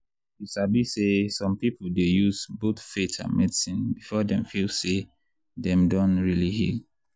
you sabi say some people dey use both faith and medicine before dem feel say dem don really heal.